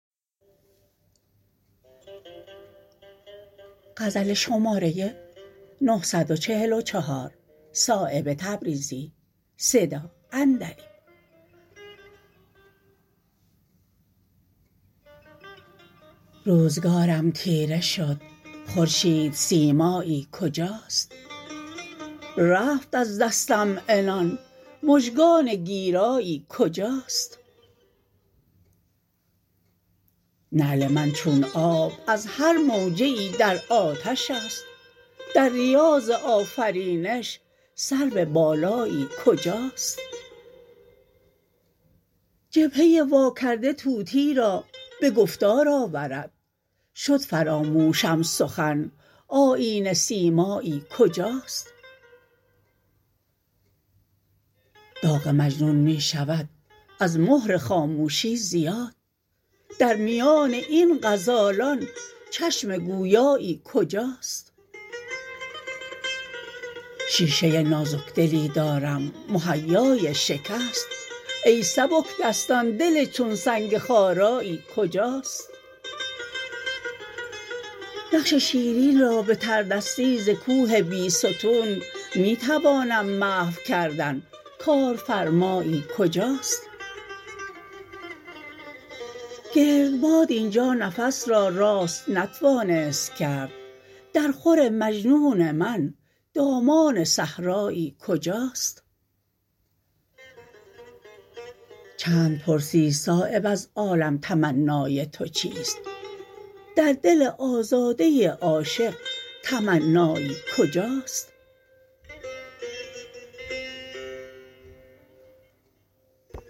روزگارم تیره شد خورشید سیمایی کجاست رفت از دستم عنان مژگان گیرایی کجاست نعل من چون آب از هر موجه ای در آتش است در ریاض آفرینش سرو بالایی کجاست جبهه وا کرده طوطی را به گفتار آورد شد فراموشم سخن آیینه سیمایی کجاست داغ مجنون می شود از مهر خاموشی زیاد در میان این غزالان چشم گویایی کجاست شیشه نازکدلی دارم مهیای شکست ای سبکدستان دل چون سنگ خارایی کجاست نقش شیرین را به تردستی ز کوه بیستون می توانم محو کردن کارفرمایی کجاست گردباد اینجا نفس را راست نتوانست کرد در خور مجنون من دامان صحرایی کجاست چند پرسی صایب از عالم تمنای تو چیست در دل آزاده عاشق تمنایی کجاست